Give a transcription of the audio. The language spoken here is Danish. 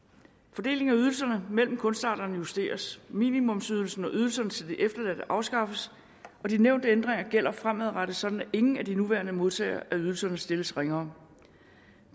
fordelingen af ydelserne mellem kunstarterne justeres minimumsydelsen og ydelserne til de efterladte afskaffes og de nævnte ændringer gælder fremadrettet sådan at ingen af de nuværende modtagere af ydelserne stilles ringere